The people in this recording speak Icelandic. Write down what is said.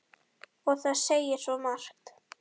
Og það segir svo margt.